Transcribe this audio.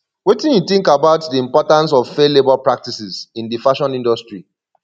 wetin you think about di importance of fair labor practices in di fashion industry